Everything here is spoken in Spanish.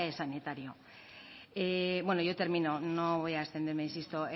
sanitario bueno yo termino no voy a extenderme insisto